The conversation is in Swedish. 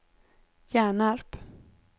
Hjärnarp